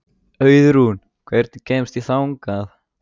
Auðrún, hvernig kemst ég þangað?